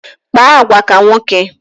Kpa agwa ka nwoke!